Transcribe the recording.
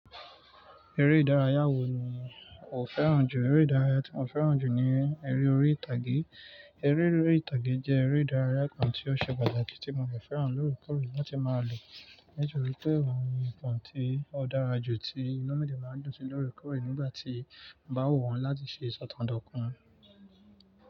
Eré ìdárayá wo ni o fẹ́ràn jù? Eré ìdárayá tí mo fẹ́ràn jù ni eré orí ìtàgé. Eré orí ìtàgé jẹ́ eré ìdárayá kan tí ó ṣe pàtàkì tí mo de fẹ́ràn lóòrekọ̀ore lati máa lò nítorí pé òhun ni ǹkan tí ó dára jù tí inú mi de máa ń dun sí lóòrekọore nígbà tí ọ bá wù mi áti ṣe ìṣọ̀kàn dotun.